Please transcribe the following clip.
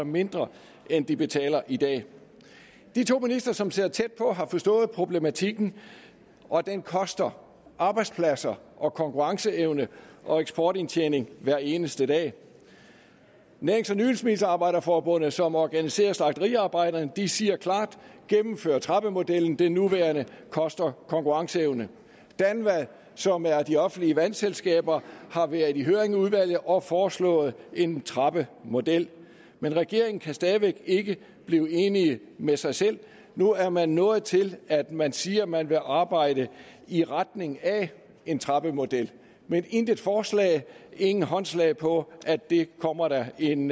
mindre end de betaler i dag de to ministre som sidder tæt på har forstået problematikken og at den koster arbejdspladser og konkurrenceevne og eksportindtjening hver eneste dag nærings og nydelsesmiddelarbejder forbundet som organiserer slagteriarbejderne siger klart gennemfør trappemodellen den nuværende koster konkurrenceevne danva som er de offentlige vandselskaber har været i høring i udvalget og foreslået en trappemodel men regeringen kan stadig væk ikke blive enig med sig selv nu er man nået til at man siger man vil arbejde i retning af en trappemodel men intet forslag ingen håndslag på at det kommer der en